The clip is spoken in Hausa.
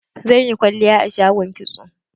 Zan yi kwalliya a shagon kitso.